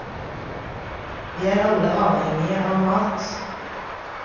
Vi er alle avhengige av mat.